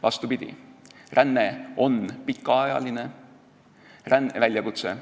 Vastupidi, ränne on pikaajaline väljakutse.